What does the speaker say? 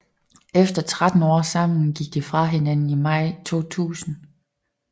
Efter 13 år sammen gik de fra hinanden i maj 2000